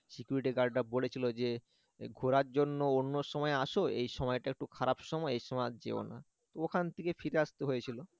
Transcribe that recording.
security guard রা বলেছিল যে ঘোরার জন্য অন্য সময় আসো এই সময় টা একটু খারাপ সময় এই সময় আর যেওনা তো এখান থেকে ফিরে আসতে হয়েছিল